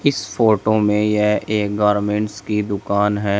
इस फोटो में यह एक गारमेंट्स की दुकान है।